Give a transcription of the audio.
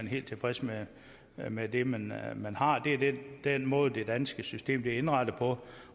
helt tilfreds med med det man har det er den måde det danske system er indrettet på